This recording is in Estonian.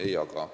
Ei jaga.